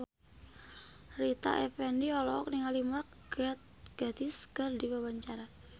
Rita Effendy olohok ningali Mark Gatiss keur diwawancara